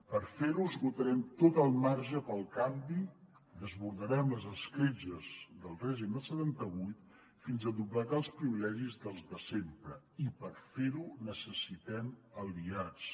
per fer ho esgotarem tot el marge pel canvi desbordarem les escletxes del règim del setanta vuit fins a doblegar els privilegis dels de sempre i per fer ho necessitem aliats